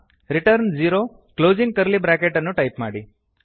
return zero closing curly bracket ಅನ್ನು type ಮಾಡಿ